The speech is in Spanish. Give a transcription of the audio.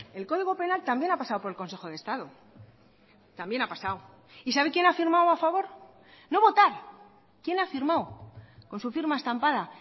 el código penal también ha pasado por el consejo de estado también ha pasado y sabe quién ha firmado a favor no votar quién ha firmado con su firma estampada